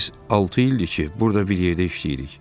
Biz altı ildir ki, burda bir yerdə işləyirik.